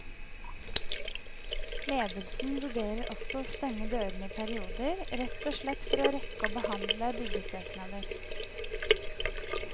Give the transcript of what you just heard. Ledelsen vurderer også å stenge dørene i perioder, rett og slett for å rekke å behandle byggesøknader.